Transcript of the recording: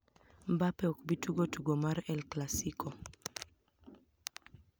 Mbape ok bi tugo tugo mar El Classico